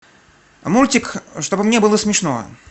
мультик чтобы мне было смешно